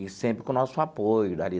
E sempre com o nosso apoio.